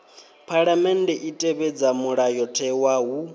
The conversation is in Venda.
phaḽamennde i tevhedza mulayotewa hu